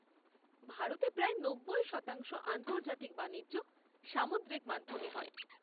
ভারতের প্রায় নব্বই শতাংশ আন্তর্জাতিক বাণিজ্য সামুদ্রিক মাধ্যমে হয়।